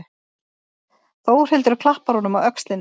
Þórhildur klappar honum á öxlina.